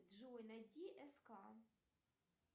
джой найди ск